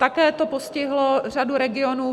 Také to postihlo řadu regionů.